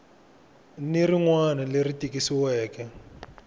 ni rin wana leri tikisiweke